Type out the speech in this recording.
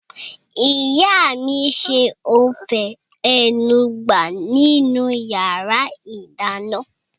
Ìyá mi n ṣe ófé enugbe nínu yàrá -ìdáná